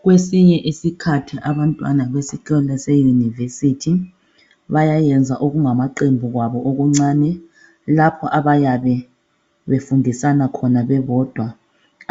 Kwesinye isikhathi abantwana besikolo seUniversity. Bayayenza okungamaqembu kwabo okuncane . Lapho abayabe befundisana khona bebodwa.